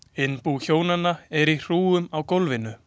Innbú hjónanna er í hrúgum á gólfum.